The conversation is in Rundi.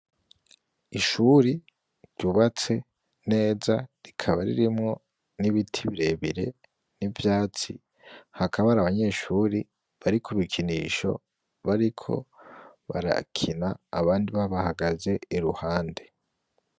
Ishuri ryubatse neza, rikaba ririmwo n'biti birebire n'ivyatsi. Hakaba hari abanyeshuri bari ku bikinisho, bariko barakina abandi babahagaze iruhande.